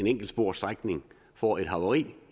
enkeltsporsstrækning får et havari